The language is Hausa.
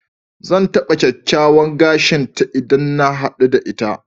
Zan taɓa kyakkyawan gashin ta idan na haɗu da ita.